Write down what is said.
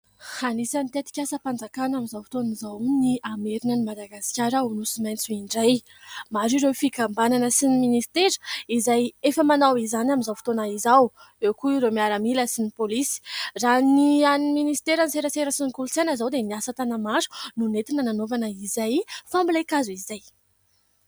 Anisany tetikasa mpanjakana amin'izao fotoana izao ny hamerina an'i Madagasikara ho Nosy maintso indray. Maro ireo fikamabanana sy ny minisitera no efa amanao izany amin'izao fotoana izao. Eo koa ireo miaramila sy polisy. Raha ny an'ny minisiteran'ny serasera sy ny kolotsaina izao dia ny asa tana-maro no nanaovana izay fambolen-kazo izay.